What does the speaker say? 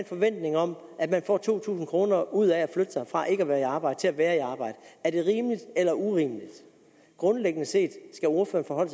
forventning om at man får to tusind kroner ud af at flytte sig fra ikke at være i arbejde til at være i arbejde er det rimeligt eller urimeligt grundlæggende set skal ordføreren